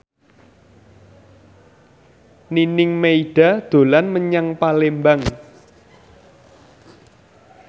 Nining Meida dolan menyang Palembang